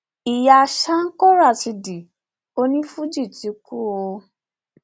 ìyá sanko rásidì onífuji ti kú o